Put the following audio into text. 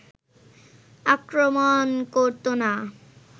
আক্রমণ করতো না